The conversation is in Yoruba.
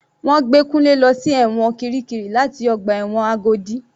Wọ́n gbé Kunle lọ sí ẹ̀wọ̀n kirikiri láti ọgbà ẹ̀wọ̀n Agodi.